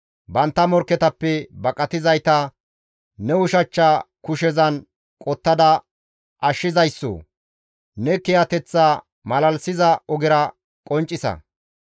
Bantta morkketappe baqatizayta ne ushachcha kushezan qottada ashshizayssoo! Ne kiyateththa malalisiza ogera qonccisa.